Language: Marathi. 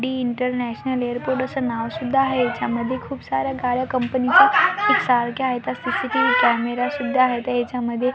डी इंटरनॅशनल एअरपोर्ट असं नाव सुद्धा आहे याच्यामध्ये खूप साऱ्या गाड्या कंपनीचा एकसारखे आहे तर सी_सी_टी_व्ही कॅमेरा सुद्धा आहे त्याच्या मध्ये --